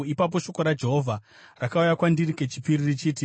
Ipapo shoko raJehovha rakauya kwandiri kechipiri richiti,